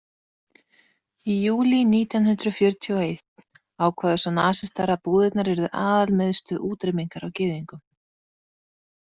Í júlí nítján hundrað fjörutíu og einn ákváðu svo nasistar að búðirnar yrðu aðalmiðstöð útrýmingar á gyðingum.